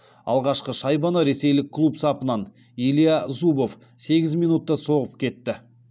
алғашқы шайбаны ресейлік клуб сапынан илья зубов сегіз минутта соғып кетті